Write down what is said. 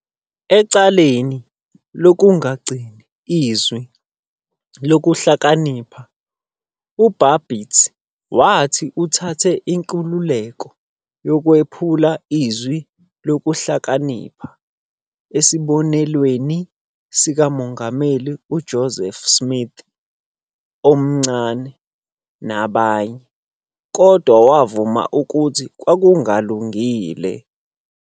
Ecaleni "lokungagcini Izwi Lokuhlakanipha", uBabbitt wathi "uthathe inkululeko yokwephula iZwi Lokuhlakanipha, esibonelweni sikaMongameli uJoseph Smith, omNcane, nabanye, kodwa wavuma ukuthi kwakungalungile.